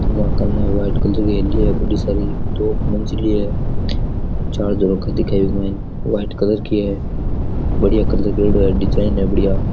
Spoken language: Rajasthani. दुआ कने व्हाइट कलर की हेली है बड़ी सारी दो मंजिल है चार झरोखा दिख बिक माइन व्हाइट कलर की है बड़ियां कलर करेड़ो है डिजाइन है बडिया।